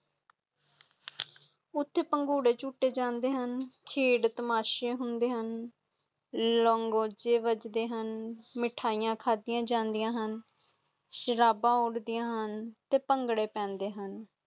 ਉਥੇ ਪੰਗੂੜੇ ਛੁਟੀ ਜਾਂਦੇ ਹੁਣ, ਖੇਡ ਤਮਾਸ਼ੇ ਹੁੰਦੇ ਹੁਣ, ਲੰਗੋਜੇ ਬਾਜਦੇ ਹੁੰਦੇ ਹਨ ਮਿਠਯਿਯਾੰ ਖਾਦੀਆਂ ਜਾਂਦੀਆਂ ਹੁਣ ਸ਼ਰਾਬ ਉਡਦੀਆਂ ਹੁਣ, ਤੇ ਪੰਗਦੇ ਪੈਂਦੇ ਹੁਣ।